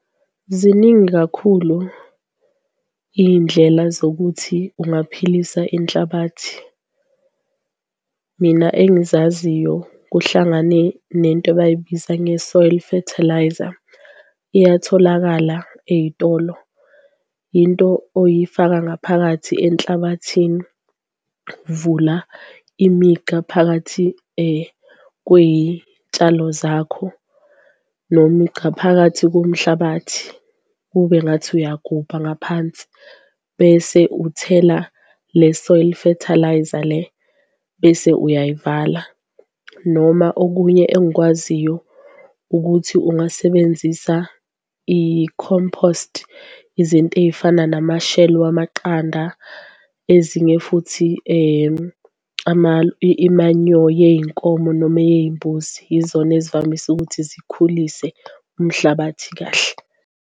Ziningi kakhulu iy'ndlela zokuthi ungaphilisa inhlabathi mina engizaziyo kuhlangane nento abayibiza nge-soil fertiliser iyatholakala eyitolo into oyifaka ngaphakathi enhlabathini. Vula imigqa phakathi kwey'tshalo zakho noma chaphakathi komhlabathi ube ngathi uyagubha ngaphansi, bese uthela le-soil fertiliser le bese uyayivala. Noma okunye engikwaziyo ukuthi ungasebenzisa i-compost, izinto ey'fana nama-shell wamaqanda, ezinye futhi imanyo yey'nkomo noma eyey'mbuzi yizona ezivamise ukuthi zikhulise umhlabathi kahle.